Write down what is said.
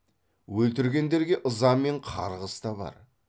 өлтіргендерге ыза мен қарғыс та бар